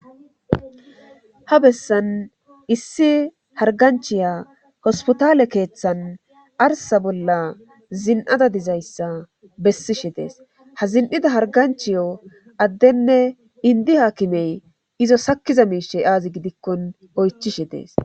Ha bessan issi harganchiya hospotaale keeththan arsa bolla zin'ada dizayssa bessishe dees ha zin'ida harganchiyo addenne indi haakimey izo sakkiza miishey aazi gidikkon oychishe dees.